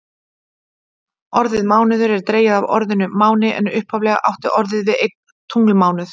Orðið mánuður er dregið af orðinu máni en upphaflega átti orðið við einn tunglmánuð.